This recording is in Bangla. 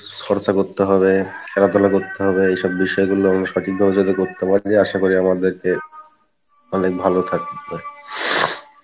চর্চা করতে হবে, খেলাধুলা করতে হবে, এই সব বিষয় গুলো যে আশা করি আমাদেরকে অনেক ভালো থাকবে।